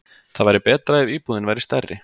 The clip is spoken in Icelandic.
Það væri betra ef íbúðin væri stærri.